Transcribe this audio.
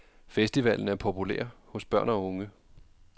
Festivalen er populær hos børn og unge.